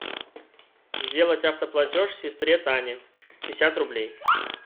сделать автоплатеж сестре тане пятьдесят рублей